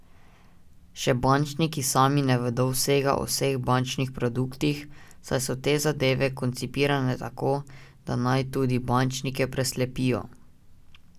Še bančniki sami ne vedo vsega o vseh bančnih produktih, saj so te zadeve koncipirane tako, da naj tudi bančnike preslepijo ...